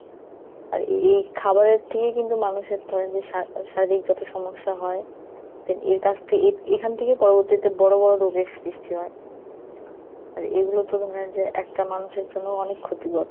আর এই খাবারের থেকেই কিন্তু মানুষের ধরেন যে সার~ শারীরিক যত সমস্যা হয়, তা এর কাছ থেকে এ~ এইখান থেকে পরবর্তীতে বড়ো বড়ো রোগের সৃষ্টি হয়। আর এগুলোতো ধরেন যেয়ে একটা মানুষের জন্য অনেক ক্ষতিকর।